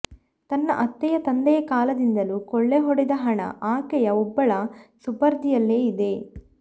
ತನ್ನ ಅತ್ತೆಯ ತಂದೆಯ ಕಾಲದಿಂದಲೂ ಕೊಳ್ಳೆ ಹೊಡೆದ ಹಣ ಆಕೆಯ ಒಬ್ಬಳ ಸುಪರ್ದಿಯಲ್ಲೆ ಇದೆ